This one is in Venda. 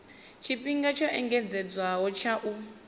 tshifhinga tsho engedzedzwaho tsha u